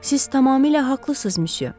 Siz tamamilə haqlısınız, müsyö.